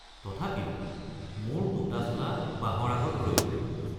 তথাপিও মোৰ দুটা চোলা বাঁহৰ আগত ৰৈ গল।